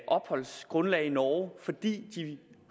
opholdsgrundlag i norge fordi de